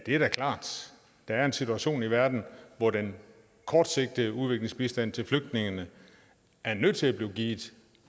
er da klart der er en situation i verden hvor den kortsigtede udviklingsbistand til flygtninge er nødt til at blive givet